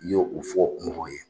Y'o u fɔ mɔgɔ ye